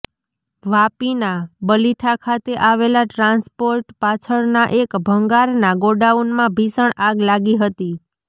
વાપીના બલીઠા ખાતે આવેલા ટ્રાન્સપોર્ટ પાછળના એક ભંગારના ગોડાઉનમાં ભીષણ આગ લાગી હતી